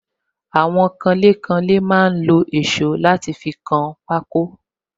Àwọn kanlé kanlé máa ń lo èsó láti fi kan pako